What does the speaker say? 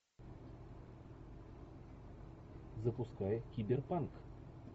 запускай киберпанк